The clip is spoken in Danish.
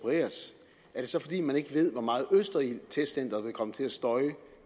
af det så fordi man ikke ved hvor meget østerildtestcenteret vil komme til at støje